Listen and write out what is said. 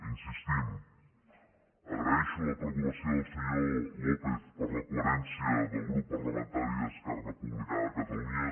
hi insistim agraeixo la preocupació del senyor lópez per la coherència del grup parlamentari d’esquerra republicana de catalunya